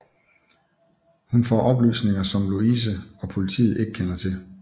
Hun får oplysninger som Louise og politiet ikke kender til